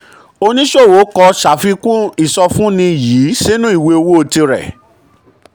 oníṣòwò kọ sàfikún ìsọfúnni um yìí sínú ìwé owó tirẹ̀.